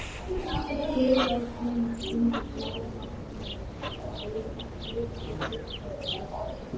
Kyrrlát mynd undir bláma himins, líkt og teiknuð af barni.